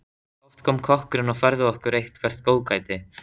Oft kom kokkurinn og færði okkur eitthvert góðgæti.